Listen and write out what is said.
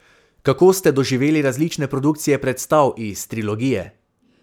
Kako ste doživeli različne produkcije predstav iz trilogije?